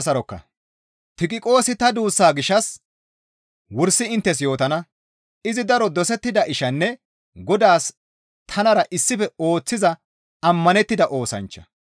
Tiqiqoosi ta duussaa gishshas wursi inttes yootana; izi daro dosettida ishanne Godaas tanara issife ooththiza ammanettida oosanchcha.